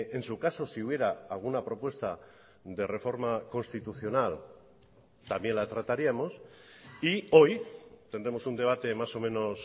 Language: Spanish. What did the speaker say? en su caso si hubiera alguna propuesta de reforma constitucional también la trataríamos y hoy tendremos un debate más o menos